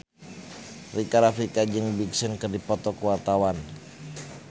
Rika Rafika jeung Big Sean keur dipoto ku wartawan